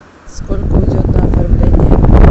сколько уйдет на оформление